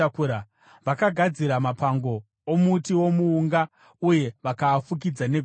Vakagadzira mapango omuti womuunga uye vakaafukidza negoridhe.